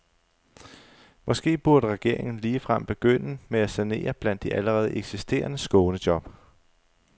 Måske burde regeringen ligefrem begynde med at sanere blandt de allerede eksisterende skånejob.